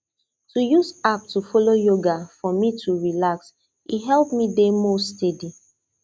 to use app to follow yoga for me to relax e help me dey more steady